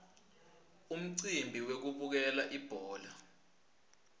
umcimbi wekubukela ibhola